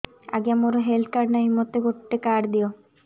ଆଜ୍ଞା ମୋର health card ନାହିଁ ମୋତେ ଗୋଟେ କାର୍ଡ ଦିଅ